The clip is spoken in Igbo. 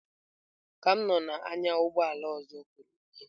Ka m nọ na-anya ụgbọ ala ọzọ kụrụ m ihe.